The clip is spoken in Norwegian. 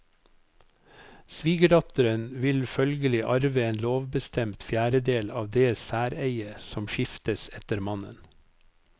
Svigerdatteren vil følgelig arve en lovbestemt fjerdedel av det særeiet som skiftes etter mannen.